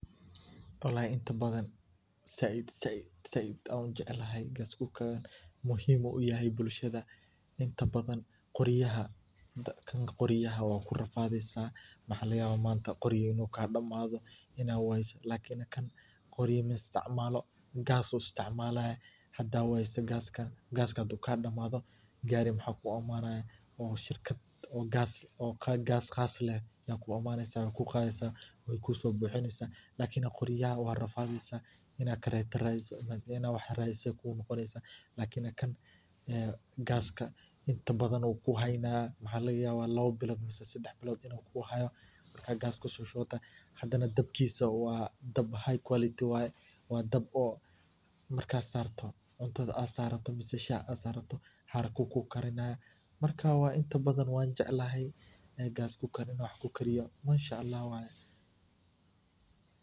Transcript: Walahi inta badhan said said said an ujeclahay gas cooker muhim ayuu uyahay bulshadha inta badhan qoryaha dabka qoryaha wakurafadheysa waxa lagayaba manta qori inuu kadamadho ina weyso lakin kan qoryaa maisticmalo gas uu isticmalaya hada weyso gaska gaska haduu kadamadho gari waxa kuimanaya shirkad oo gas, qaska leh aa kuimnayso kuqadheysa wey kusobuxineysa lakini qoryaha warafadheysa inad kareta radiso kugunoqoneysa lakini gaska intaa badhan wuu kuhana waxa lagayaba labbo bilod mise sedax bilod inu kuhayo marka gas kusoshubata dabkisa waa dab high quality, waye waa dab oo marka sarto cuntada aad sarato mise shaha aad sarata haraka ayu kukarina marka inta inta badhan wanjeclahy inan gas cooker inshaahu.